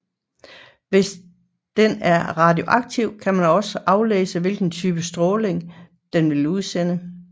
Hvis den er radioaktiv kan man også aflæse hvilken type stråling den vil udsende